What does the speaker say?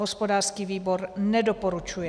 Hospodářský výbor nedoporučuje.